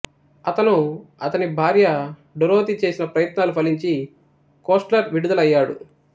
అతను అతని భార్య డొరోతి చేసిన ప్రయత్నాలు ఫలించి కోస్ట్లర్ విడుదల అయ్యాడు